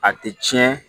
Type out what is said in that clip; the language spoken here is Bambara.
A tɛ tiɲɛ